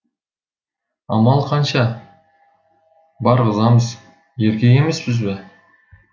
амал қанша барғызамыз еркек емеспіз бе